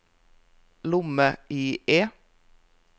lomme-IE